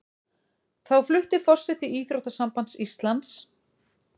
Þá flutti forseti Íþróttasambands Íslands